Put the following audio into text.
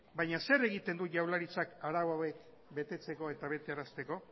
baina zer egiten du jaurlaritzak arau hauek betetzeko eta betearazteko